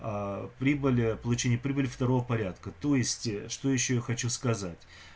прибыли получение прибыли второго порядка то есть что ещё я хочу сказать